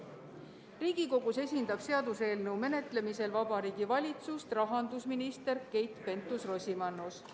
Riigikogus esindab seaduseelnõu menetlemisel Vabariigi Valitsust rahandusminister Keit Pentus-Rosimannus.